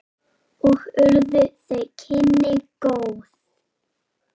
Og urðu þau kynni góð.